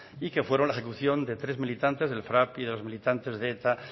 y que fueron la ejecución de tres militantes del frap y de los militantes de eta